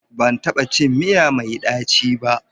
Ban taɓa cin miya mai ɗaci ba.